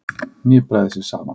Hnipraði sig saman.